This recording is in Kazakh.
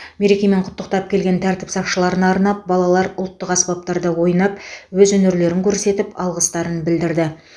мерекемен құттықтап келген тәртіп сақшыларына арнап балалар ұлттық аспаптарда ойнап өз өнерлерін көрсетіп алғыстарын білдірді